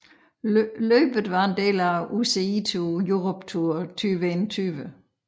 Løbet var en del af UCI Europe Tour 2021